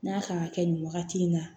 N'a kan ka kɛ nin wagati in na